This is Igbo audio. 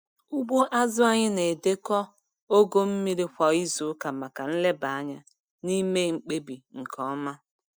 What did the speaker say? Ugbo azụ anyị na-edekọ ogo mmiri kwa izuụka maka nleba anya na ime mkpebi nke ọma.